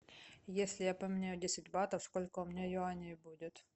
если я поменяю десять батов сколько у меня юаней будет